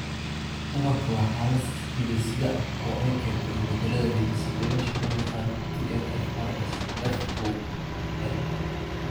DABANKA waa xaalad hidde-side ah oo ay keento isbeddellada hidde-sideyaasha loo yaqaan TNFRSF koow A.